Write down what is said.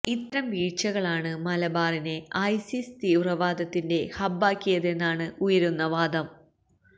ഇത്തരം വീഴ്ചകളാണ് മലബാറിനെ ഐസിസ് തീവ്രവാദത്തിന്റെ ഹബ്ബാക്കിയതെന്നാണ് ഉയരുന്ന വാദം